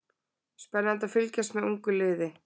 Spennandi að fylgjast með ungu liði